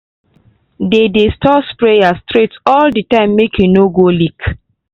dey dey store sprayer straight all the time make e no go leak.